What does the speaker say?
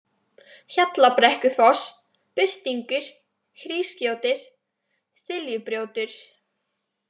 Hjallabrekkufoss, Birtingur, Hrísgjótir, Þiljubrjótur